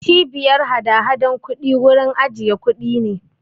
Cbiyar hadahadan kuɗi wurin ajiye kuɗi ne.